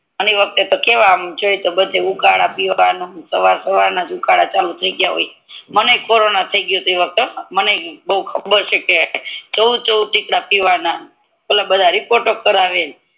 અને ઈ વખતે જોઈ તો બધે ઉકારા પીવાના હવાર હવાર મા ઉકાર ચાલુ થી ગ્યા હોય મને કોરોના થી ગયો તો હો મને ય બૌ ખબર છે કે ઉકાર પવન ઓલ બધા રેપોરટો કરાવીએ ને